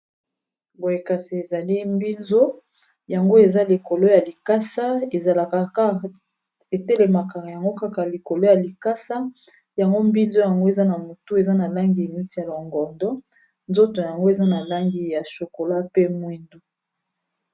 Boyekasi ezali mbinzo yango eza likolo ya likasa ezalakak etelemaka yango kaka likolo ya likasa yango mbinzo yango eza na motu eza na langi eniti ya longordo nzoto yango eza na langi ya chokola pe mwindu.